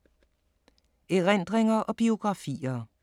Erindringer og biografier